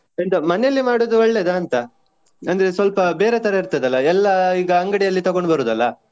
ಎಂತ ಮನೆಯಲ್ಲಿ ಮಾಡುದು ಒಳ್ಳೆಯದ ಅಂತ. ಅಂದ್ರೆ ಸ್ವಲ್ಪ ಬೇರೆ ತರಹ ಇರ್ತದಲ್ಲ ಎಲ್ಲ ಈಗ ಅಂಗಡಿಯಲ್ಲಿ ತೊಗೊಂಡು ಬರುದಲ್ಲ.